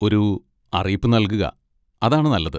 ഒരു അറിയിപ്പ് നൽകുക, അതാണ് നല്ലത്.